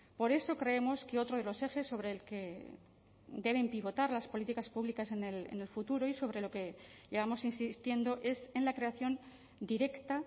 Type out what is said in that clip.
por eso creemos que otro de los ejes sobre el que deben pivotar las políticas públicas en el futuro y sobre lo que llevamos insistiendo es en la creación directa